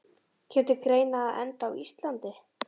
Kemur til greina að enda á Íslandi?